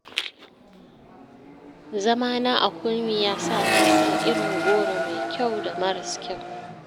Zamana a Kurmi, ya sa na san irin goro mai kyau da maras kyau.